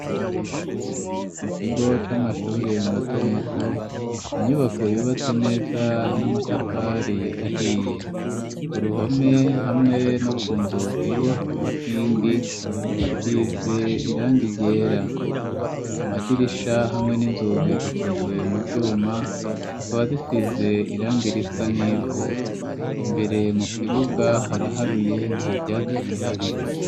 Mu kigo c'amashuri mato mato inyubako yubatse neza n'amatafari ahiye ku ruhome hamwe no ku nzugi n'inkingi hasize irangi ryera amadirisha hamwe n'inzugi zikozwe mu vyuma zikaba zisize irangi risa n'ivu, imbere mu kibuga haraharuye nta vyatsi bihari.